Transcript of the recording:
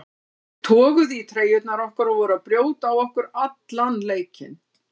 Þeir toguðu í treyjurnar okkar og voru að brjóta á okkur allan leikinn.